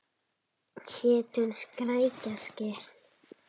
Hét hún Skrækja Skyr?